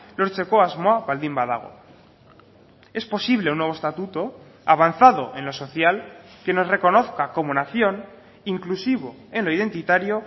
lortzeko asmoa baldin badago es posible un nuevo estatuto avanzado en lo social que nos reconozca como nación inclusivo en lo identitario